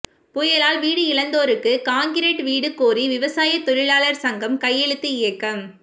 புயலால் வீடு இழந்தோருக்கு கான்கிரீட் வீடு கோரி விவசாய தொழிலாளர் சங்கம் கையெழுத்து இயக்கம்